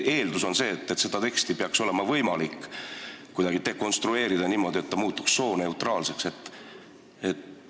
Eeldus on, et seda teksti peaks olema võimalik kuidagi niimoodi dekonstrueerida, et see muutuks sooneutraalseks.